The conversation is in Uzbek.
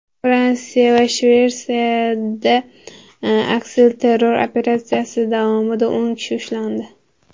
Fransiya va Shveysariyada aksilterror operatsiyasi davomida o‘n kishi ushlandi.